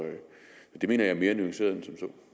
jeg mener at det er mere nuanceret end